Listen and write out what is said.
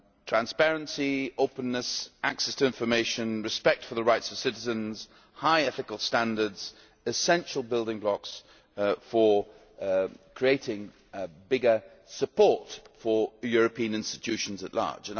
Transparency, openness, access to information, respect for the rights of citizens, high ethical standards essential building blocks for creating greater support for European institutions at large.